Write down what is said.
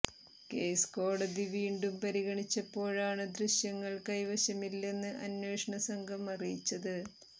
case കോടതി വീണ്ടും പരിഗണിച്ചപ്പോഴാണ് ദൃശ്യങ്ങൾ കൈവശമില്ലെന്ന് അന്വേഷണ സംഘം അറിയിച്ചത്